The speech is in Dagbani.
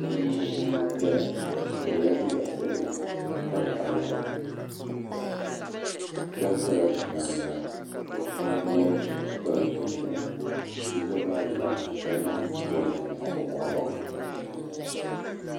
Bia n ʒɛya o yɛla liiga piɛlli ka nyaɣa luŋa shab ʒɛla bia maa nyaanga bi puuni yino sola chinchin bia so gba mii ʒɛmi ka zaŋ bolli nyaɣa o nyingoli ni